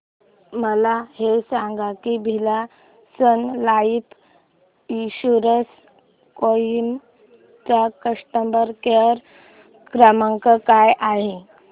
मला हे सांग की Birla Sun Life insurance Kohima चा कस्टमर केअर क्रमांक काय आहे